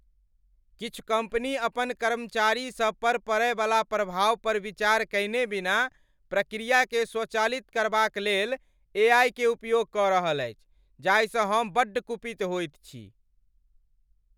किछु कम्पनी अपन कर्मचारीसभ पर पड़यवला प्रभाव पर विचार कयने बिना प्रक्रियाकेँ स्वचालित करबाक लेल ए. आइ. क उपयोग कऽ रहल अछि जाहिसँ हम बड्ड कुपित होइत छी ।